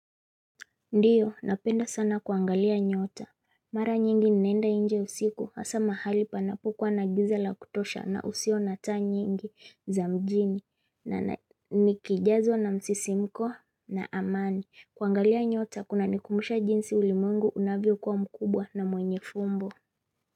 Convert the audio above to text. Ndiyo napenda sana kuangalia nyota mara nyingi nenda inje usiku hasa mahali panapokuwa na gizala kutosha na usio nata nyingi za mjini na nikijazo na msisimko na amani kuangalia nyota kuna nikumisha jinsi ulimungu unavyo kwa mkubwa na mwenye fumbo.